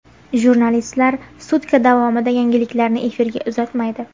Jurnalistlar sutka davomida yangiliklarni efirga uzatmaydi.